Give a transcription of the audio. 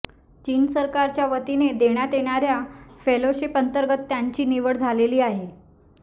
चीन सरकारच्या वतीने देण्यात येणाऱ्या फेलोशिपअंतर्गत त्यांची निवड झालेली आहे